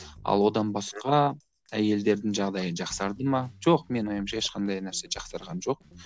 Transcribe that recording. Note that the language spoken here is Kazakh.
ал одан басқа әйелдердің жағдайы жақсарды ма жоқ менің ойымша ешқандай нәрсе жақсарған жоқ